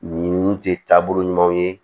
Nin tɛ taabolo ɲumanw ye